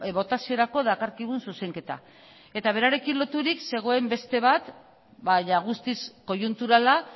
botaziorako dakarkigun zuzenketa eta berarekin loturik zegoen beste bat jada guztiz koiunturala